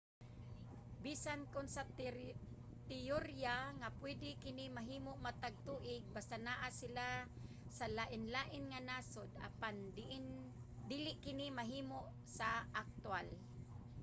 bisan kon sa teyorya nga pwede kini mahimo matag tuig basta naa sila sa lainlaing mga nasod apan dili kini mahimo sa aktwal